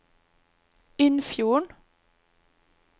Innfjorden